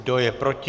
Kdo je proti?